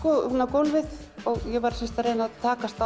gólfið og ég var sem sagt að reyna að takast